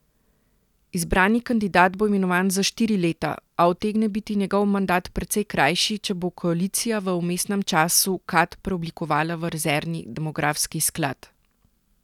Izbrani kandidat bo imenovan za štiri leta, a utegne biti njegov mandat precej krajši, če bo koalicija v vmesnem času Kad preoblikovala v rezervni demografski sklad.